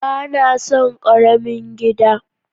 Ba na son karamin gida.